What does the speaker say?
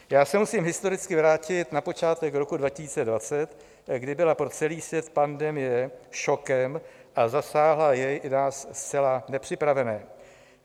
Já se musím historicky vrátit na počátek roku 2020, kdy byla pro celý svět pandemie šokem a zasáhla jej i nás zcela nepřipravené.